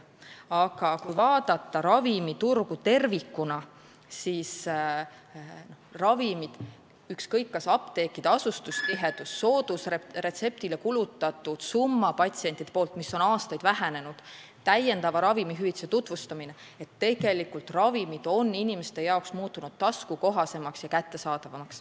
Aga kui vaadata ravimiturgu tervikuna, siis ükskõik, kas vaatame apteekide paiknemistihedust, soodusravimitele patsientide poolt kulutatud summat, mis on aastaid vähenenud, või täiendavat ravimihüvitist, siis selgub, et tegelikult on ravimid muutunud inimestele taskukohasemaks ja kättesaadavamaks.